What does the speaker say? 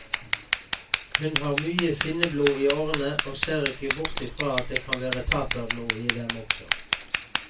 Hun har mye finneblod i årene, og ser ikke bort fra at det kan være taterblod i dem også.